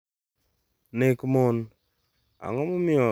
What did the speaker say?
Nek mon: Ang’o momiyo tim gero ne joma mine kod nek medore e piny Kenya?